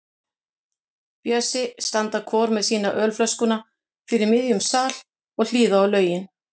Bjössi standa hvor með sína ölflöskuna fyrir miðjum sal og hlýða á lögin.